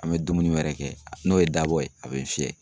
An bɛ dumuni wɛrɛ kɛ, n'o ye dabɔ ye a bɛ n fiyɛ.